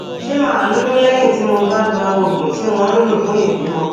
ṣé màá lóyún léyìn tí mo bá gba oògùn tí wón ń lò fún ìbímọ